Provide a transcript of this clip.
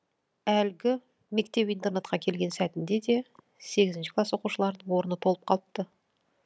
әлгі мектеп интернатқа келген сәтінде де сегізінші класс оқушыларының орны толып қалыпты